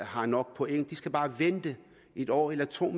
har nok point de skal bare vente et år eller to